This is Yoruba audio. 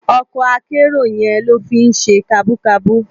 Òkò àkèéró yèn ló fi n sé kàbúkàbú